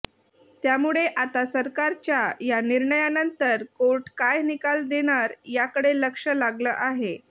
त्यामुळे आता सरकारच्या या निर्णयानंतर कोर्ट काय निकाल देणार याकडे लक्ष लागलं आहे